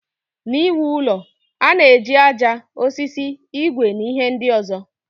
N'iwu ụlọ, a na-eji aja, osisi, igwe na ihe ndị ọzọ.